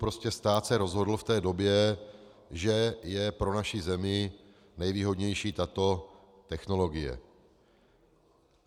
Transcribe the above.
Prostě stát se rozhodl v té době, že je pro naši zemi nejvýhodnější tato technologie.